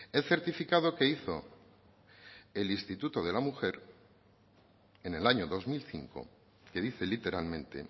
el certificado que hizo el instituto de la mujer en el año dos mil cinco que dice literalmente